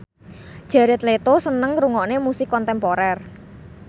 Jared Leto seneng ngrungokne musik kontemporer